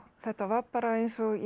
þetta var bara eins og ég